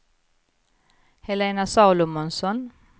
Helena Salomonsson